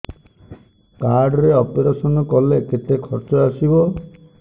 card ରେ operation କଲେ କେତେ ଖର୍ଚ ଆସିବ